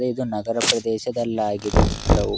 ಇದು ನಗರ ಪ್ರದೇಶದಲ್ಲಿ ಆಗಿದೆ ಚಿತ್ರವೂ--